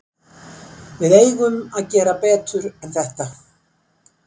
Við eigum að gera betur en þetta.